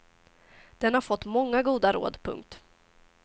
Den har fått många goda råd. punkt